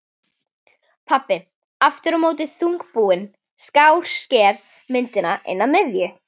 Pabbi aftur á móti þungbúinn skásker myndina inn að miðju.